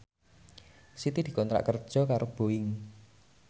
Siti dikontrak kerja karo Boeing